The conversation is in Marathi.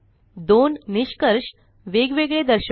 दोन निष्कर्ष वेग वेगळे दर्शवा